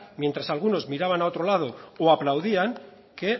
mientras que algunos miraban a otro lado y aplaudían que